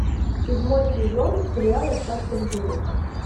седьмой сезон сериал остаться в живых